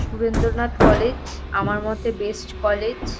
Surendranath college আমার মতে best college.